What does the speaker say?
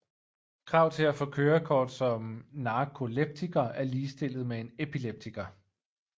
Krav til at få kørekort som narkoleptiker er ligestillet med en epileptiker